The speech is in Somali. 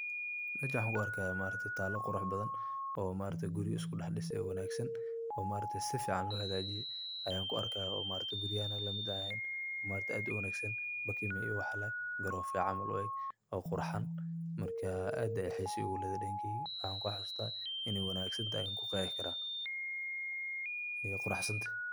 mejan waxan ku arka talo qurax badhan oo guriyo isku daxdis wanagsan oo sufican lohajiye ayan kuarkay oo maaragtaye guriyaha an lamid ehen, oo ad uwagsan bakima iyo waxa lee, garofa iyo camal ueg oo qurxan, marka ad ayay xiso igu ledhahay dankeyga waxan kuxasusta inay wanagsantahy an kuqexi kara ay quraxsant.